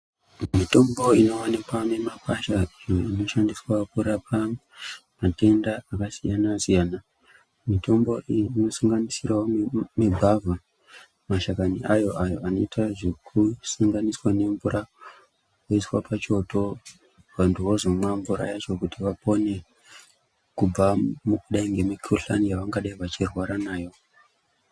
Mitombo inowanikwa mumakwasha, iyo inoshandiswa kurapa matenda akasiyana-siyana. Mitombo iyi inosanganisirawo migwavha mashakani ayo, ayo anoite zvekusanganiswa nemvura oiswa pachoto vanthu vozomwa kuti vapone kubva mukudai ngemikuhlani yavangadai vachirwara nayo.